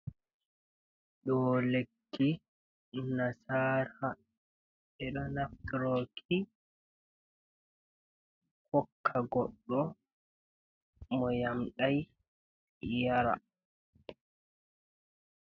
Do lekki nasaraha edo naftiroki hokka goɗɗo mo yamɗai yara.